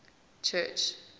church